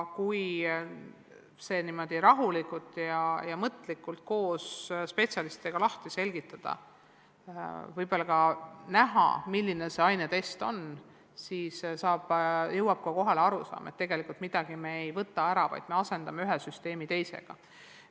Kui see rahulikult koos spetsialistidega lahti seletada, võib-olla ka näidata, milline see ainetest on, siis ehk jõuab kohale arusaam, et tegelikult me ei võta midagi ära, vaid asendame ühe süsteemi teisega.